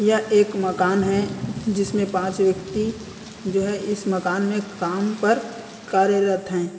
यह एक मकान है जिसमें पांच व्यक्ति जो है इस मकान में काम पर कार्यरत है।